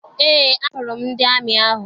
Eé, ahụrụ m ndị amị ahụ